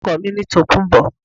Orúkọ mi ni Tòkunbọ̀